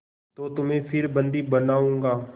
तो तुम्हें फिर बंदी बनाऊँगा